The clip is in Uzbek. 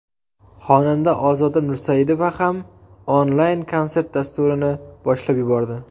Xonanda Ozoda Nursaidova ham onlayn konsert dasturini boshlab yubordi.